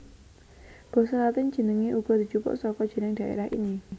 Basa Latin jenengé uga dijupuk saka jeneng dhaerah ini